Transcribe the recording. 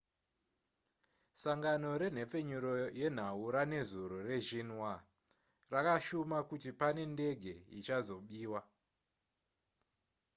sangano renhepfenyuro yenhau ranezuro rexinhua rakashuma kuti pane ndege ichazobiwa